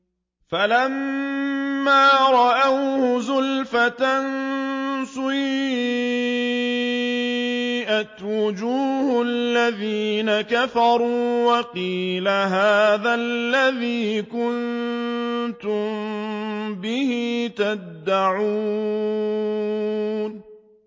فَلَمَّا رَأَوْهُ زُلْفَةً سِيئَتْ وُجُوهُ الَّذِينَ كَفَرُوا وَقِيلَ هَٰذَا الَّذِي كُنتُم بِهِ تَدَّعُونَ